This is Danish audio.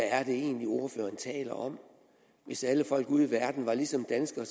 er det egentlig ordføreren taler om hvis alle folk ude i verden var ligesom danskere